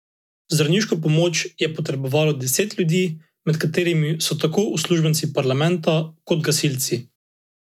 Zdravniško pomoč je potrebovalo deset ljudi, med katerimi so tako uslužbenci parlamenta kot gasilci.